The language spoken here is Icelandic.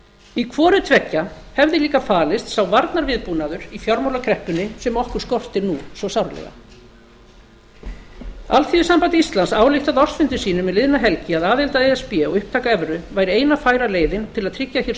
í hvorutveggja hefði líka falist sá varnarviðbúnaður í fjármálakreppunni sem okkur skortir nú svo sárlega alþýðusamband íslands ályktaði á ársfundi sínum um liðina helgi að aðild að e s b og upptaka evru væri eina færa leiðin til að tryggja hér